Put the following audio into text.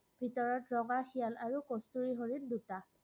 ভিতৰত ৰঙা শিয়াল আৰু কষ্টুৰি হৰিণ, দুটা।